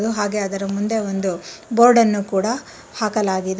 ಹಾಗೆ ಅದರ ಮುಂದೆ ಒಂದು ಬೋರ್ಡ್ ಅನ್ನು ಕೂಡ ಹಾಕಲಾಗಿದೆ.